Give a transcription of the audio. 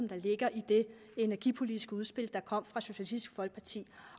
der ligger i det energipolitiske udspil der kom fra socialistisk folkeparti